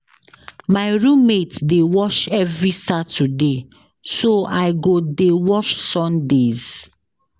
My room mate dey wash every Saturday so I go dey wash Sundays.